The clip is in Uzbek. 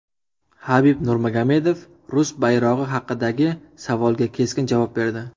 Habib Nurmagomedov rus bayrog‘i haqidagi savolga keskin javob berdi.